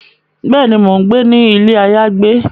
Béèni, Mo n gbé ní ilé ayagbe